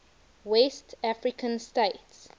west african states